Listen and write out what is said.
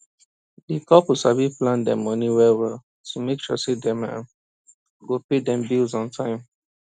di couple sabi plan dem money wellwell to make sure dem um go pay dem bills on time